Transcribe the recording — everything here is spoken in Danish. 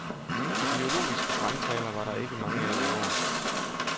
Ideologiske brandtaler var der ikke mange af i år.